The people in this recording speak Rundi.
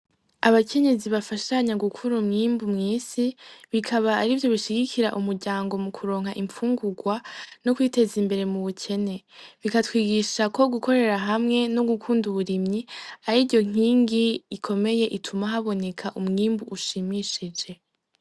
Abakenyezi bafashanya gukura umwimbu mw'isi, bikaba arivyo bishigikira umuryango mukuronka infungurwa no kwiteza imbere mu bukene. Bikatwigisha ko gukorera hamwe no gukunda uburimyi ariyo nkingi ikomeye ituma haboneka umwimbu ushimishije.